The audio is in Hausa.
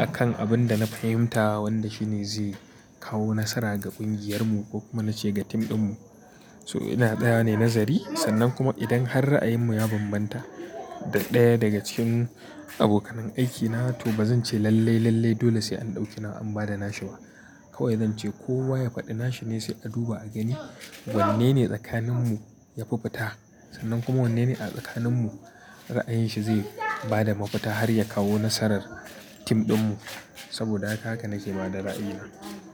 akan abin da na fahimta wanda shine zai kawo nasara ga ƙungiyarmu ko kuma nace ga tim ɗinmu. So ina tsayawa ne nazari sannan kuma idan har ra'ayinmu ya bambanta da ɗaya daga cikin abokanan aikina to bazan ce lallai, lallai dole sai an ɗauki na wa an bada nashi ba. Kawai zance kowa ya faɗi nashi ne sai a duba a gani wanne ne tsakaninmu ya fi fita sannan kuma wanne ne a tsakaninmu ra'ayinshi zai bada mafita har ya kawo nasarar tim ɗinmu. Saboda haka haka nake bada ra'ayina.